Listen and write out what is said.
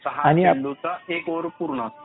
सहा चेंडूचा एक ओव्हर पूर्ण असतो.